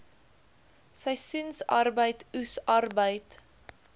seisoensarbeid oes arbeid